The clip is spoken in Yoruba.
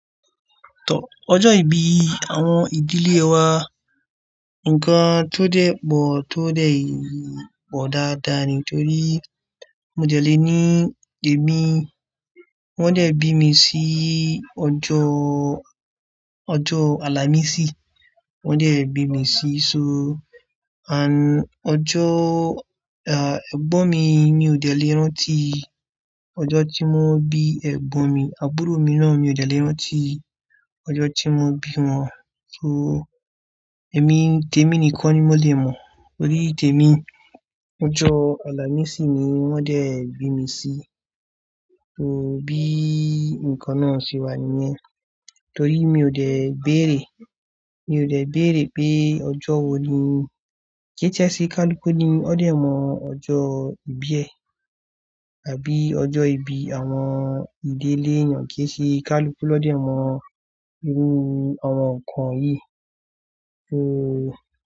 Ọjọ́ ìbí àwọn ìdílé wa, nǹkan tó dẹ́ pọ̀ tó dẹ́ yìí pọ̀ dáadáa nítorí mo dẹ̀ lé ní èmi. Wọ́n dẹ̀ bi mi sí ọjọ́, ọjọ́ Àlàmísì wọ́n dẹ̀ bi mi sí, so ọjọ́, ah, ẹ̀gbọ́n mi mi ò dẹ̀ lé rántí ọjọ́ tí wọ́n bí ẹ̀gbọ́n mi, àbúrò mi náà mi ò dẹ̀ lé rántí ọjọ́ tí wọ́n bí wọn. So èmi, tèmi nìkan ni mo lè mọ̀ nítorí tèmi ọjọ́ Àlàmísì ni wọ́n dẹ̀ bi mi sí. So bí ǹkan náà ṣe wà níyẹn. Torí mi ò dẹ̀ bẹ́ẹ̀ rè, mi ò dẹ̀ bẹ́ẹ̀ rè pé ọjọ́ wo ni ke ti ẹ ṣé kálúku ní wọ́n dẹ̀ mọ ọjọ́ ìbí ẹ àbí ọjọ́ ìbí àwọn ìdílé yàn kẹ ṣe kálúku lọ́ dẹ̀ mọ irú àwọn ǹkan yìí. So.